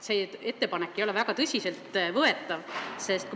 See ettepanek ei ole väga tõsiselt võetav.